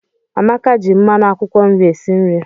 Amaka ji mmanụ akwụkwọ nri esi nri